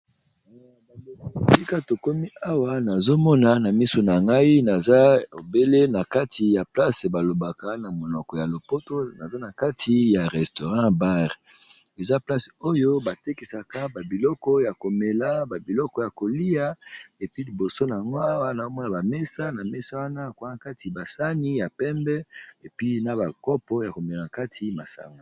sika tokomi awa nazomona na misu na ngai naza obele na kati ya place balobaka na monoko ya lopoto naza na kati ya restaurant bare eza place oyo batekesaka babiloko ya komela babiloko ya kolia epi liboso na ngwawa naomona bamesa na mesa wana kwa kati basani ya pembe epi na bakopo ya komela na kati masango